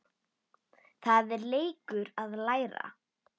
Það er leikur að læra